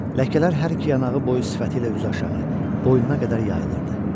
Ləkələr hər iki yanağı boyu sifəti ilə üzüaşağı boynuna qədər yayılırdı.